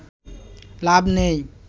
লাভ নেই